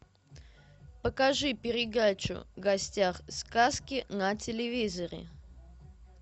покажи передачу в гостях у сказки на телевизоре